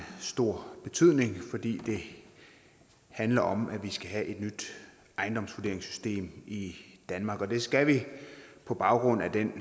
stor betydning fordi det handler om at vi skal have et nyt ejendomsvurderingssystem i danmark og det skal vi på baggrund af den